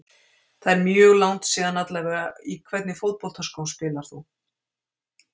Það er mjög langt síðan allavega Í hvernig fótboltaskóm spilar þú?